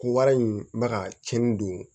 Ko wari in bɛ ka cɛnni don